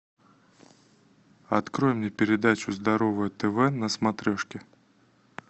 открой мне передачу здоровое тв на смотрешке